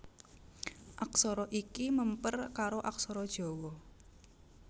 Aksara iki mèmper karo aksara Jawa